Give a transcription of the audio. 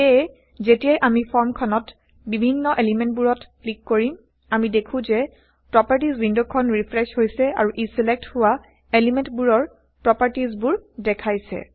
সেয়ে যেতিয়াই আমি ফৰ্ম খনত বিভিন্ন এলিমেন্টবোৰত ক্লিক কৰিম আমি দেখো160যে প্ৰপাৰ্টিজ ৱিণ্ডখন ৰিফ্ৰেশ্ব হৈছে আৰু ই ছিলেক্ট160হোৱা এলিমেন্টবোৰৰ160প্ৰপাৰ্টিজবোৰ দেখাইছে